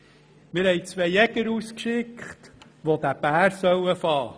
Wir haben zwei Jäger losgeschickt, die diesen Bären einfangen sollten.